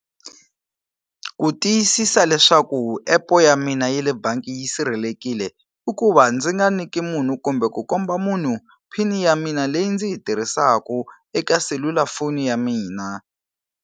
Ku tiyisisa leswaku epu ya mina ya le bangi yi sirhelekile i ku va ndzi nga niki munhu kumbe ku komba munhu PIN ya mina leyi ndzi yi tirhisaku eka selulafoni ya mina.